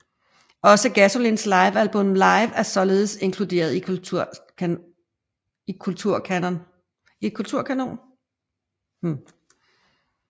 Også Gasolins livealbum Live sådan er inkluderet i Kulturkanon